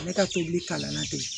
Ale ka tobili kalan na bi